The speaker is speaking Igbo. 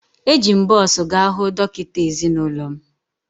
Eji m bọs gaa hụ dọkịta ezinụlọ m